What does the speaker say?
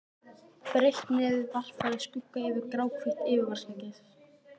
Breitt nefið varpaði skugga yfir gráhvítt yfirvaraskeggið.